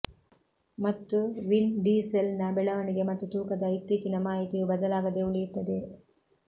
ಮತ್ತು ವಿನ್ ಡೀಸೆಲ್ನ ಬೆಳವಣಿಗೆ ಮತ್ತು ತೂಕದ ಇತ್ತೀಚಿನ ಮಾಹಿತಿಯು ಬದಲಾಗದೆ ಉಳಿಯುತ್ತದೆ